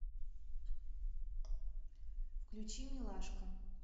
включи милашка